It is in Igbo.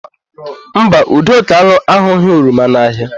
Mba, Udoka ahụghị oroma n'ahịa.